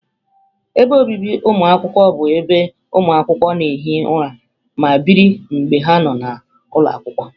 Ebe obibi ụmụakwụkwọ bụ ebe ụmụ akwụkwọ na-ehi ụra ma biri mgbe ha nọ n'ụlọ akwụkwọ.